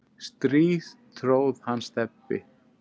strý tróð hann Stebbi